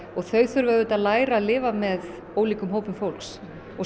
og þau þurfa að læra að lifa með ólíkum hópum fólks og